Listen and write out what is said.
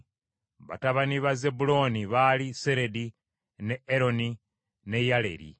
Batabani ba Zebbulooni baali Seredi, ne Eroni ne Yaleeri.